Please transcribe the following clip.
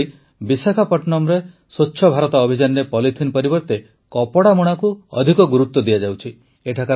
ସେହିପରି ବିଶାଖାପଟ୍ଟନମରେ ସ୍ୱଚ୍ଛ ଭାରତ ଅଭିଯାନରେ ପଲିଥିନ ପରିବର୍ତ୍ତେ କପଡ଼ା ମୁଣାକୁ ଅଧିକ ଗୁରୁତ୍ୱ ଦିଆଯାଉଛି